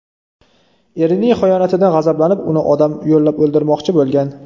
Erining xiyonatidan g‘azablanib, uni odam yollab o‘ldirmoqchi bo‘lgan.